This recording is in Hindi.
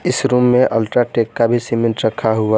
इस रूम में अल्ट्राटेक का भी सीमेंट रखा हुआ--